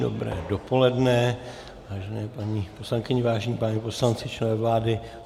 Dobré dopoledne, vážené paní poslankyně, vážení páni poslanci, členové vlády.